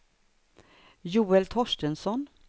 Joel Torstensson